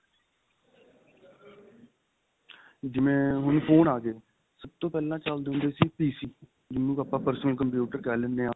ਜਿਵੇਂ ਹੁੱਣ phone ਆ ਗਏ ਸਭ ਤੋਂ ਪਹਿਲਾਂ ਚੱਲਦੇ ਹੁੰਦੇ ਸੀ PC ਜਿੰਨੂ ਆਪਾਂ personal computer ਕਹਿ ਲੈਂਨੇ ਆ